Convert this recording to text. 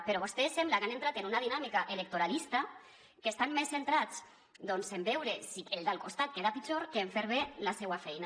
però vostès sembla que han entrat en una dinàmica electoralista que estan més centrats doncs en veure si el del costat queda pitjor que en fer bé la seua feina